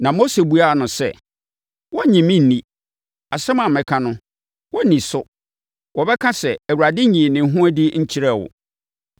Na Mose buaa no sɛ, “Wɔrennye me nni. Asɛm a mɛka no, wɔrenni so. Wɔbɛka sɛ, ‘ Awurade nyii ne ho adi nkyerɛɛ wo!’ ”